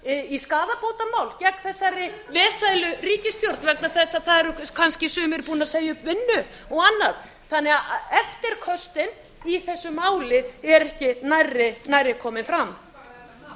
í skaðabótamál gegn þessari vesælu ríkisstjórn vegna þess að það eru kannski sumir búnir að segja upp vinnu og annað eftirköstin í þessu máli eru ekki nærri nærri komin fram